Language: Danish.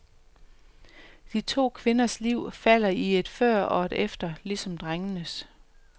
De to kvinders liv falder i et før og et efter, ligesom drengenes.